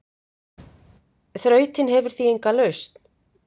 Þrautin hefur því enga lausn.